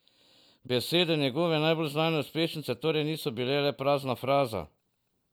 Besede njegove najbolj znane uspešnice torej niso bile le prazna fraza.